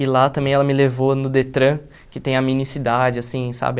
E lá também ela me levou no Detran, que tem a mini cidade, assim, sabe?